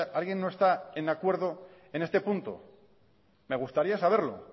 alguien no está en acuerdo en este punto me gustaría saberlo